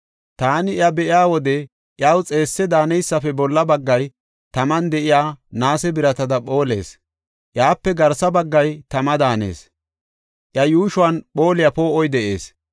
Taani iya be7iya wode iyaw xeesse daaneysafe bolla baggay taman de7iya naase biratada phoolees. Iyape garsa baggay tama daanees; iya yuushon phooliya poo7oy de7ees.